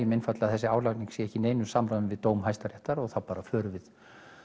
einfaldlega að þessi álagning sé ekki í neinu samræmi við dóm Hæstaréttar og þá förum við